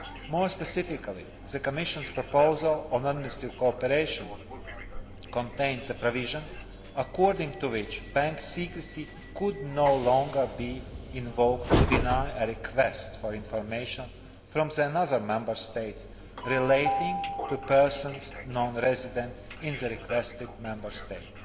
More specifically, the Commission's proposal on administrative cooperation contains a provision according to which bank secrecy could no longer be invoked to deny a request for information from another Member State relating to persons non resident in the requested Member State.